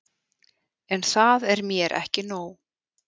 En það er mér ekki nóg.